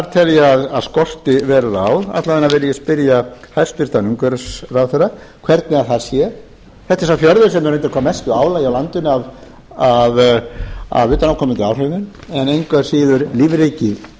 tel ég að skorti verulega á alla vega vil ég spyrja hæstvirtur umhverfisráðherra hvernig það sé hvernig sá fjörður sem er undir hvað mestu álagi á landinu af utanaðkomandi áhrifum en engu að síður lífríki